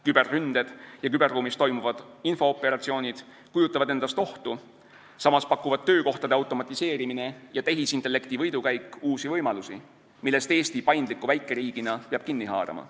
Küberründed ja küberruumis toimuvad infooperatsioonid kujutavad endast ohtu, samas pakuvad töökohtade automatiseerimine ja tehisintellekti võidukäik uusi võimalusi, millest Eesti paindliku väikeriigina peab kinni haarama.